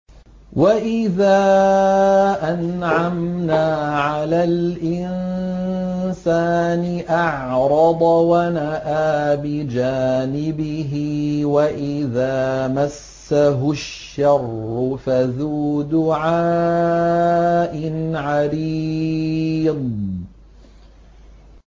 وَإِذَا أَنْعَمْنَا عَلَى الْإِنسَانِ أَعْرَضَ وَنَأَىٰ بِجَانِبِهِ وَإِذَا مَسَّهُ الشَّرُّ فَذُو دُعَاءٍ عَرِيضٍ